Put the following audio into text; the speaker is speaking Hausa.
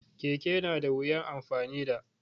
Keke na da wuyan amfani da